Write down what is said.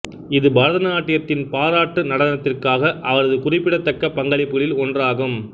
இது பரதநாட்டியத்தின் பாராட்டு நடனத்திற்கான அவரது குறிப்பிடத்தக்க பங்களிப்புகளில் ஒன்றாகும்